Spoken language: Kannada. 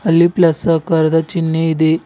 ಅಲ್ಲಿ ಪ್ಲಸ್ ಆಕಾರದ ಚಿಹ್ನೆ ಇದೆ.